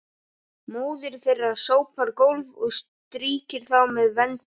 Móðir þeirra sópar gólf og strýkir þá með vendi.